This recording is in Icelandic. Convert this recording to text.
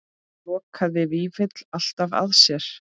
Lokaði Vífill alltaf að sér?